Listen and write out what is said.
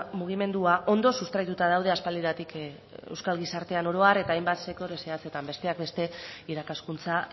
mugimendua ondo sustraituta daude aspaldidanik euskal gizartean oro har eta hainbat sektore zehatzetan besteak beste irakaskuntza